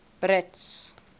brits